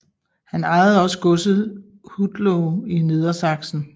Han ejede også godset Hutloh i Nedersaksen